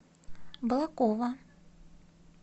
балаково